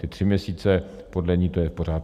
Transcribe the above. Ty tři měsíce podle ní, to je v pořádku.